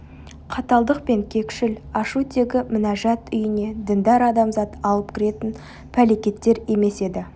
қаталдық пен кекшіл ашу тегі мінәжат үйіне діндар адамзат алып кіретін пәлекеттер емес еді